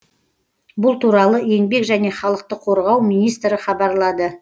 бұл туралы еңбек және халықты қорғау министрі хабарлады